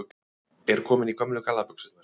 Er komin í gömlu gallabuxurnar